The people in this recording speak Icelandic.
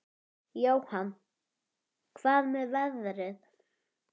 Jóhann: Hvað með veðrið?